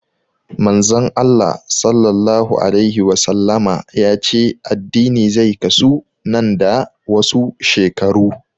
Manzon Allah Sallallahu alaihi Wasallama ya ce addini zai kasu nan da wasu shekaru